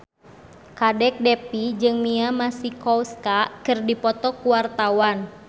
Kadek Devi jeung Mia Masikowska keur dipoto ku wartawan